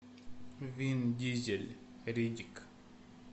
вин дизель риддик